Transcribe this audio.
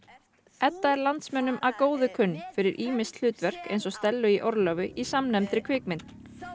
Edda er landsmönnum að góðu kunn fyrir ýmis hlutverk eins og Stellu í orlofi í samnefndri kvikmynd